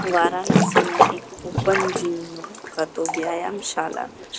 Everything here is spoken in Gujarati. વારાનસીના એક ઓપન જીમ નો કા તો વ્યાયામશાલા--